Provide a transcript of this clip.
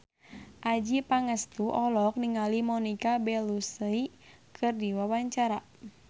Adjie Pangestu olohok ningali Monica Belluci keur diwawancara